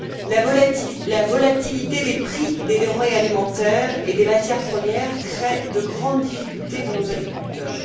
La volatilité des prix des denrées alimentaires et des matières premières crée de grandes difficultés pour nos agriculteurs.